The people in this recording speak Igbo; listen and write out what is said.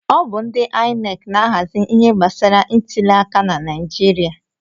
Ọ bụ ndị INEC na-ahazi ihe gbasara ntụli aka na Naijiria.